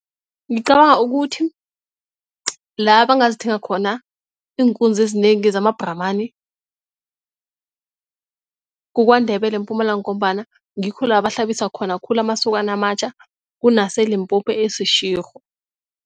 Ngicabanga ukuthi la bangazithenga khona iinkunzi ezinengi zama-Brahman kukwaNdebele eMpumalanga ngombana ngikho la bahlabisa khona khulu amasokana amatjha kunaseLimpopo eSeshego.